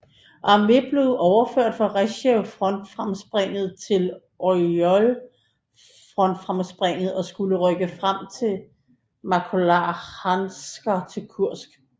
Arme blevet overført fra Rsjev frontfremspringet til Orjol frontfremspringet og skulle rykke frem fra Maloarkhangelsk til Kursk